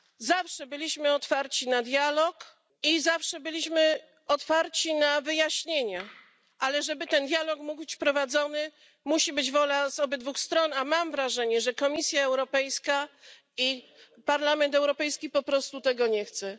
Zawsze byliśmy otwarci na dialog i zawsze byliśmy otwarci na wyjaśnienia, ale żeby ten dialog mógł być prowadzony, musi być wola z obydwu stron, a mam wrażenie, że Komisja Europejska i Parlament Europejski po prostu tego nie chcą